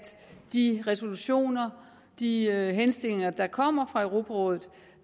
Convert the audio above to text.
de resolutioner de henstillinger der kommer fra europarådet